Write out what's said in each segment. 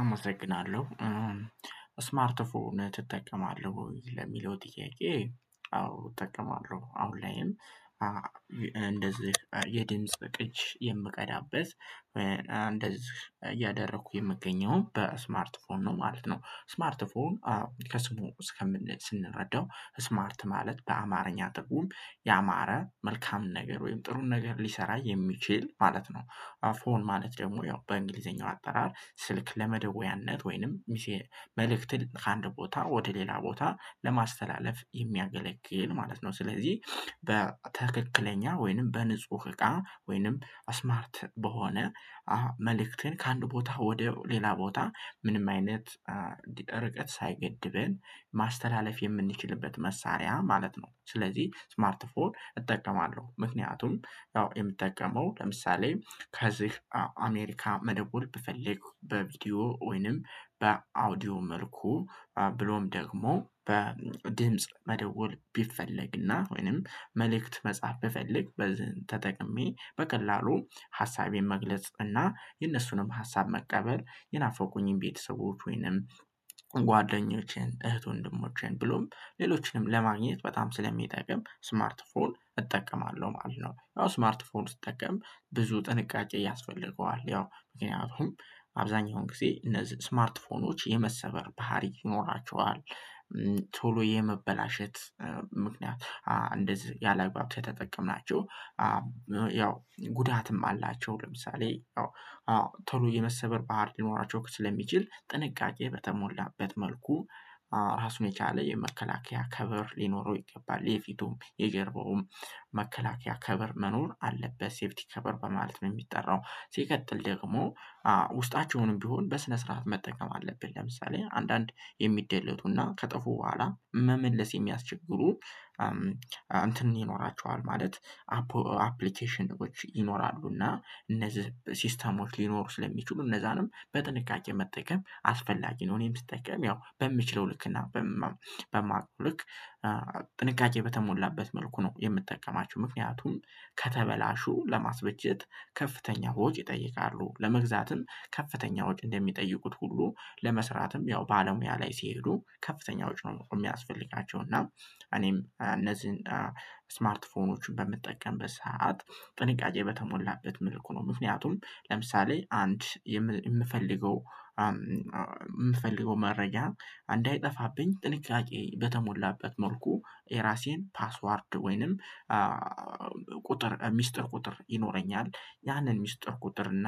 አመሰግናለሁ። ስማርት ፎን ትጠቀማለህ ወይ? ለሚለው ጥያቄ አዎ እጠቀማለሁ አሁን ላይም እንደዚህ የድምጽ ቅጅ የምቀዳበት እንደዚህ እያደረኩ የምገኘውን በስማርት ፎን ነው ማለት ነው። ስማርት ፎን ከስሙ እስከምን ስንረዳው ስማርት ማለት በአማርኛ ትርጉም ያማረ መልካም ነገር ወይም ጥሩን ነገር ሊሰራ የሚችል ማለት ነው። አፎን ማለት ደግሞ ያው በእንግሊዘኛው አጠራር ስልክ ለመደወያነት ወይንም መልእክትን ከአንድ ቦታ ወደ ሌላ ቦታ ለማስተላለፍ የሚያገለግል ማለት ነው። ስለዚህ በትክክለኛ ወይንም በንጹህ እቃ ወይንም ስማርት በሆነ መልእክትን ከአንድ ቦታ ወደ ሌላ ቦታ ምንም አይነት ርቀት ሳይገድበን ማስተላለፍ የምንችልበት መሳሪያ ማለት ነው። ስለዚህ ስማርት ፎን እጠቀማለሁ ምክንያቱም ያው የምጠቀመው ለምሳሌ ከዚህ አሜሪካ መደወል ብፈልግ በቪዲዮ ወይንም በአውዲዮ መልኩ ብሎም ደግሞ በድምጽ መደወል ቢፈለግና ወይንም መልእክት መጻፍ ቢፈልግ በዝን ተጠቅሜ በቀላሉ ሀሳቤን መግለጽ እና የነሱንም ሀሳብ መቀበል የናፈቁኝን ቤተሰቦች ወይንም ጓደኞቼን እህት ወንድሞቼን ብሎም ሌሎችንም ለማግኘት በጣም ስለሚጠቅም ስማርት ፎን እጠቀማለሁ ማለት ነው። ያው ስማርት ፎን ስትጠቀም ብዙ ጥንቃቄ ያስፈልገዋል ያው ምክንያቱም አብዛኛውን ጊዜ እነዚህ ስማርት ፎኖች የመሰበር ባህሪ ይኖራቸዋል። ቶሎ የመበላሸት ምክንያት እንደዚህ ያላግባብ ከተጠቀምናቸው። ያው ጉዳትም አላቸው። ለምሳሌ አዎ ቶሎ የመሰበር ባህር ሊኖራቸው ስለሚችል ጥንቃቄ በተሞላበት መልኩ ራሱን የቻለ የመከላከያ ከበር ሊኖረው ይገባል የፊቱም የገረበውም መከላከያ ከበር መኖር አለበት ሴፍቲ ከበር በማለት ነው የሚጠራው። ሲቀጥል ደግሞ ውስጣቸውንም ቢሆን በስነ ስርዓት መጠቀም አለብህ ለምሳሌ አንዳንድ የሚደለቱና ከጠፉ በኋላ መመለስ የሚያስቸግሩ እንትን ይኖራቸዋል ማለት አፕሊኬሽኖች ይኖራሉና እነዚህ ሲስተሞች ሊኖሩ ስለሚችሉ እነዛንም በጥንቃቄ መጠቀም አስፈላጊ ነው። እኔም ስጠቀም ያው በምችለው ልክና በማቀው ልክ ጥንቃቄ በተሞላበት መልኩ ነው የምጠቀማቸው። ምክንያቱም ከተበላሹ ለማስበጀት ከፍተኛ ወጭ ይጠይቃሉ ለመግዛትም ከፍተኛ ወጭ እንደሚጠይቁት ሁሉ ለመስራትም ያው ባለሙያ ላይ ሲሄዱ ከፍተኛ ወጪ ነው የሚያስፈልጊያቸው። እና እኔም እነዚህን ስማርት ፎኖችን በምጠቀም በሰአት ጥንቃቄ በተሞላበት መልኩ ነው። ምክንያቱም ለምሳሌ አንድ የምፈልገው የምፈልገው መረጃ እንዳይጠፋብኝ ጥንቃቄ በተሞላበት መልኩ የራሴን ፓስወርድ ወይንም ቁጥር ሚስጥር ቁጥር ይኖረኛል ያንን ሚስጥር ቁጥር እና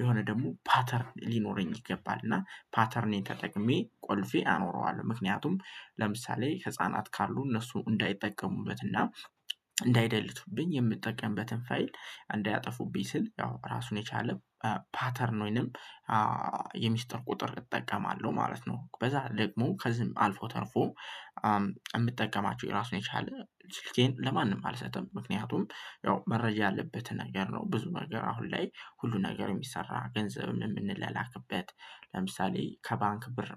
የሆነ ደግሞ ፓተርን ሊኖረኝ ይገባል እና ፓተርንን ተጠቅሜ ቆልፌ አኖረዋለሁ ምክንያቱም ለምሳሌ ህፃናት ካሉ እነሱ እንዳይጠቀሙበትና እንዳይደልቱብኝ የምጠቀምበትን ፋይል እንዳያጠፉብኝ ስል ያው ራሱን የቻለ ፓተርን ወይንም የሚስጥር ቁጥር እጠቀማለሁ ማለት ነው። በዛ ደግሞ ከዚህም አልፎ ተርፎ የምጠቀማቸው የራሱን የቻለ ስልኬን ለማንም አልሰጥም። ምክንያቱም ያው መረጃ ያለበትን ነገር ነው ብዙ ነገር አሁን ላይ ሁሉ ነገር የሚሰራ ገንዘብ የምንላላክበት ለምሳሌ ከባንክ ብር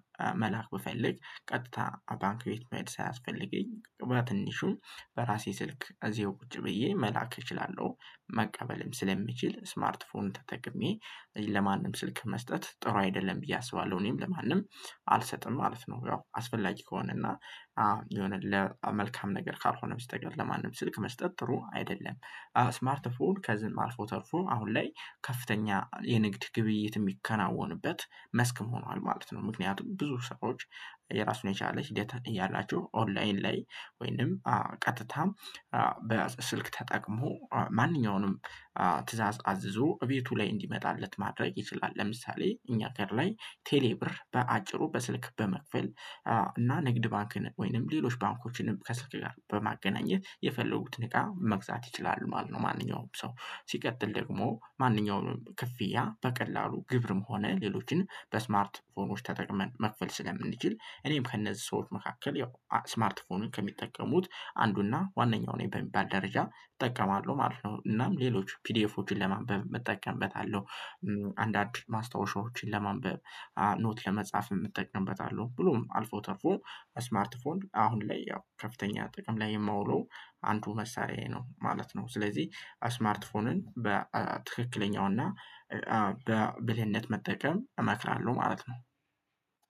መላክ ብፈልግ ቀጥታ ባንክ ቤት መሄድ ሳያስፈልገኝ በትንሹን በራሴ ስልክ እዚሁ ቁጭ ብዬ መላክ እችላለሁ። መቀበልም ስለምችል ስማርት ፎን ተጠቅሜ ለማንም ስልክ መስጠት ጥሩ አይደለም ብዬ አስባለሁ እኔም ለማንም አልሰጥም ማለት ነው። ያው አስፈላጊ ከሆነ እና የሆነ ለመልካም ነገር ካልሆነም ስተቀር ለማንም ስልክ መስጠት ጥሩ አይደለም። ስማርት ፎን ከዚህም አልፎ ተርፎ አሁን ላይ ከፍተኛ የንግድ ግብይት የሚከናወንበት መስክም ሆኗል ማለት ነው። ምክንያቱም ብዙ ሰዎች የራሱን የቻለች ህደት አለ ያላችሁ ኦንላይን ላይ ወይንም ቀጥታ በስልክ ተጠቅሞ ማንኛውንም ትእዛዝ አዝዞ እቤቱ ላይ እንዲመጣለት ማድረግ ይችላል። ለምሳሌ እኛ ጋር ላይ ቴሌ ብር በአጭሩ በስልክ በመክፈል እና ንግድ ባንክን ወይንም ሌሎች ባንኮችንም ከስልክ ጋር በማገናኘት የፈለጉትን እቃ መግዛት ይችላሉ ማለት ነው። ማንኛውም ሰው ሲቀጥል ደግሞ ማንኛውም ክፍያ በቀላሉ ግብርም ሆነ ሌሎችን በስማርት ፎኖች ተጠቅመን መክፈል ስለምንችል እኔም ከእነዚህ ሰዎች መካከል ያው ስማርት ፎኑን ከሚጠቀሙት አንዱና ዋናው እኔ በሚባል ደረጃ እጠቀማለሁ ማለት ነው። እናም ሌሎች ፒዲኤፎችን ለማንበብ እጠቀምበታለሁ። አንዳንድ ማስታወሻዎችን ለማንበብ ኖት ለመጻፍ እጠቀምበታለሁ። ብሎም አልፎ ተርፎ ስማርት ፎን አሁን ላይ ያው ከፍተኛ ጥቅም ላይ የማውለው አንዱ መሳሪያዬ ነው ማለት ነው። ስለዚህ ስማርት ፎንን በትክክለኛው እና በብልህነት መጠቀም እመክራለሁ ማለት ነው።